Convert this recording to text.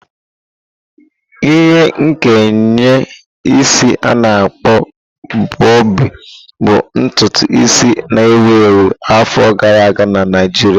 Ihe nkeye isi a-na akpo Bọbụ bụ ntutu isi na-ewu ewu afọ gara aga na Naijiria.